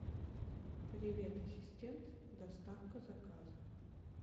привет ассистент доставка заказа